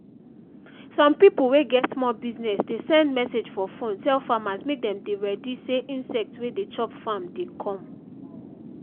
some pipo wey get small business dey send message for phone tell farmers mek dem dey ready say insect wey de chop farm dey come